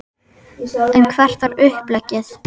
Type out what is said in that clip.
En hvert var uppleggið?